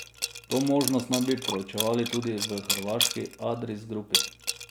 To možnost naj bi proučevali tudi v hrvaški Adris Grupi.